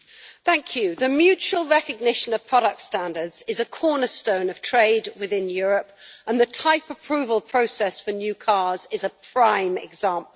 Mr President, the mutual recognition of product standards is a cornerstone of trade within Europe and the type approval process for new cars is a prime example.